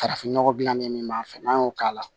Farafin nɔgɔ dilannen min b'an fɛ n'an y'o k'a la